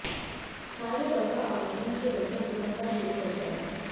कार्य दवा आवेदन के लगभग तुरंत बाद शुरू होता है